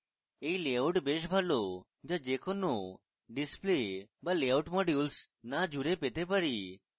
এই লেআউট বেশ ভালো যা যে কোনো display বা layout modules না জুড়ে পেতে পারি